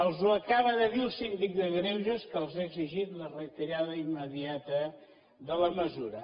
els ho acaba de dir el síndic de greuges que els ha exigit la retirada immediata de la mesura